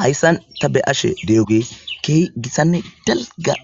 hayssan ta be ashe de7oge keehi gissanne dalga